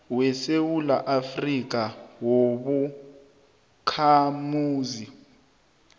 wesewula afrika wobakhamuzi